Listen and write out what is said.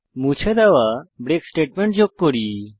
মুছে দেওয়া break statement যোগ করি